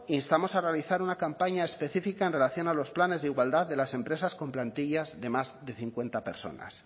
instamos a realizar una campaña específica en relación a los planes de igualdad de las empresas con plantillas de más de cincuenta personas